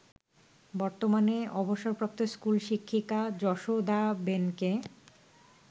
বর্তমানে অবসরপ্রাপ্ত স্কুল শিক্ষিকা যশোদাবেনকে